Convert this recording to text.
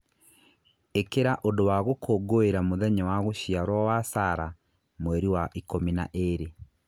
ĩkĩra ũndũ wa gũkũngũĩra mũthenya wa gũciarwo wa Sarah Mweri wa ikũmi na ĩĩrĩ